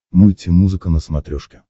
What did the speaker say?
мульти музыка на смотрешке